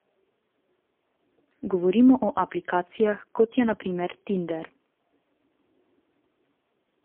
Govorim o aplikacijah, kot je na primer Tinder.